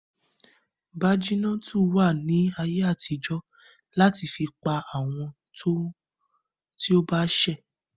Bájínátù wàá ní ayé àtijó láti fi pa àwọn ti ó bá ṣè